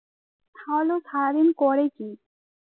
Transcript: তাহলে ও সারাদিন করে কি